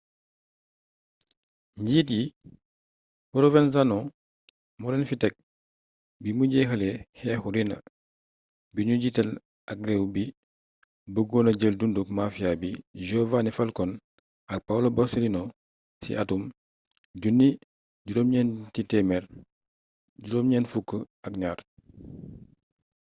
njiit yi provenzano moolén fi ték bimu jéxalé xééxu riina-bi nu jiital ak réew bi beeggona jeel dunduk mafia yi giovanni falcone ak paolo borsellino ci atum 1992